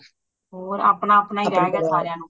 ਹੋਰ ਅਪਣਾ ਅਪਣਾ ਰਿਹ ਗਯਾ ਸਾਰਿਆਂ ਨੂੰ